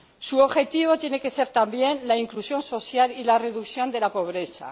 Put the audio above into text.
Su objetivo tiene que ser también la inclusión social y la reducción de la pobreza.